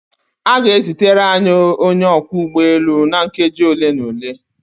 A ga-ezitere anyị onye ọkwọ ụgbọelu na nkeji ole na ole.